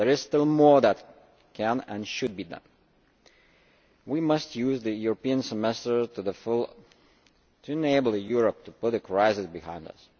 There is still more that can and should be done. We must use the European Semester to the full to enable Europe to put the crisis behind us.